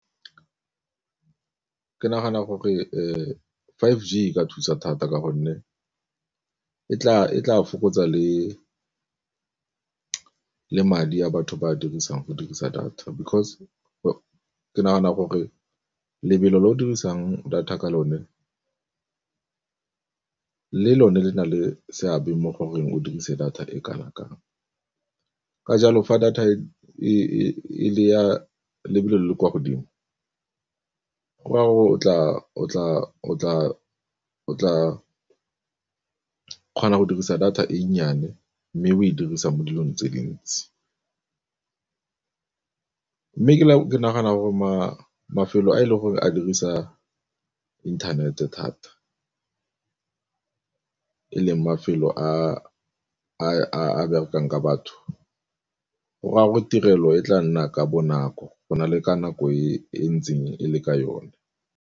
Ke nagana gore five G e ka thusa thata ka gonne e tla fokotsa le madi a batho ba dirisang go dirisa data, because ke nagana gore lebelo le o dirisang data ka lone le lone le na le seabe mo goreng o dirise data e kana kang, ka jalo fa data e ya lebelo le le kwa godimo go raya gore o tla kgona go dirisa data e nnyane mme o e dirisa mo dilong tse dintsi. Mme ke nagana gore mafelo a e leng gore a dirisa inthanete thata e leng mafelo a a berekang ka batho gore a gore tirelo e tla nna ka bonako go na le ka nako e ntseng e le ka yone.